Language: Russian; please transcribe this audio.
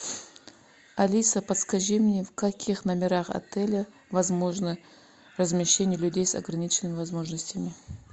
алиса подскажи мне в каких номерах отеля возможно размещение людей с ограниченными возможностями